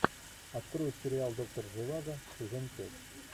открой сериал доктор живаго сезон пять